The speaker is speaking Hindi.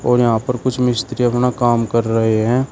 और यहां पर कुछ मिस्त्री अपना काम कर रहे हैं।